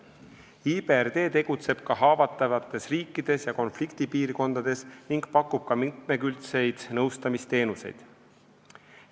IBRD tegutseb ka haavatavates riikides ja konfliktipiirkondades ning pakub mitmekülgseid nõustamisteenuseid.